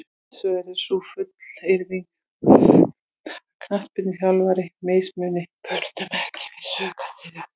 Hins vegar á sú fullyrðing að knattspyrnuþjálfarar mismuni börnum ekki við rök að styðjast.